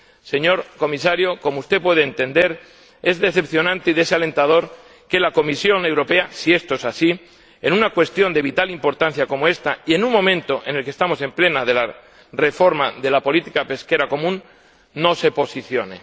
Señor Comisario, como usted puede entender, es decepcionante y desalentador que la Comisión Europea, si esto es así, en una cuestión de vital importancia como esta, y en un momento en el que estamos en plena reforma de la política pesquera común, no se posicione.